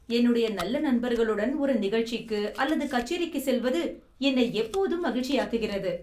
என்னுடைய நல்ல நண்பர்களுடன் ஒரு நிகழ்ச்சிக்கு அல்லது கச்சேரிக்கு செல்வது என்னை எப்போதும் மகிழ்ச்சியாக்குகிறது..